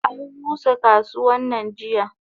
Anrusa kasuwannan jiya.